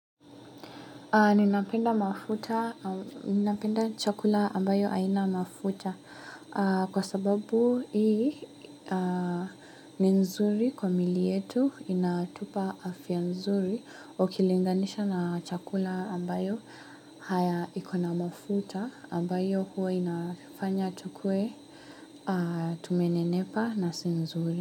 Ninapenda chakula ambayo haina mafuta kwa sababu hii ni nzuri kwa miili yetu inatupa afya nzuri ukilinganisha na chakula ambayo haya ikona mafuta ambayo huwa inafanya tukue tume nenepa na si nzuri.